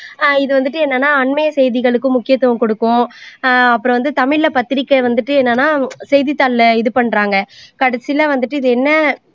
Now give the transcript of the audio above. ஆஹ் இது வந்திட்டு என்னன்னா அண்மைய செய்திகளுக்கு முக்கியத்துவம் கொடுக்கும் ஆஹ் அப்புறம் வந்து தமிழில பத்திரிக்கை வந்துட்டு என்னன்னா செய்தித்தாளில இது பண்றாங்க கடைசியில வந்துட்டு இது என்ன